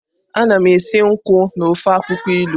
Ana m esi nkwụ na ofe akwukwo ilu.